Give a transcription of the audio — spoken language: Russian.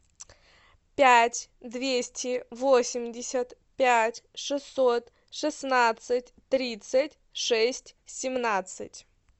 пять двести восемьдесят пять шестьсот шестнадцать тридцать шесть семнадцать